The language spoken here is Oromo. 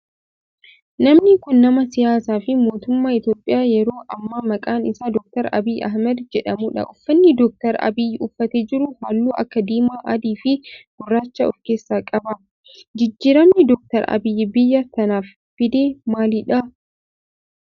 Namni kun nama siyaasaa fi mootummaa Itiyoophiyaa yeroo ammaa maqaan isaa Dr. Abiyyi Ahimeed jedhamudha. Uffanni Dr. Abiyyi uffatee jiru halluu akka diimaa, adii fi gurraacha of keessaa qaba. Jijjiiramni Dr. Abiyyi biyya tanaaf fide maalidha?